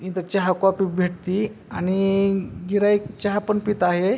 इथं चहा कॉफी भेटती आणि गिराईक चहा पण पित आहे.